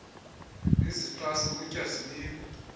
izixhasi kutya zinikwa